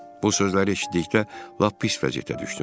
Bu sözləri eşitdikdə lap pis vəziyyətə düşdüm.